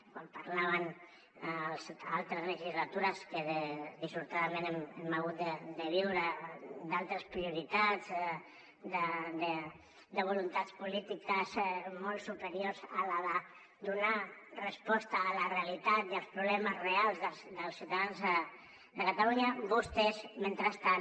quan parlaven en altres legislatures que dissortadament hem hagut de viure d’altres prioritats de voluntats polítiques molt superiors a la de donar resposta a la realitat i als problemes reals dels ciutadans de catalunya vostès mentrestant